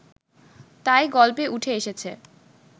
তাই গল্পে উঠে এসেছে